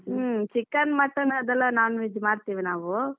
chicken, mutton ಅದೆಲ್ಲ non veg ಮಾಡ್ತೇವೆ ನಾವು.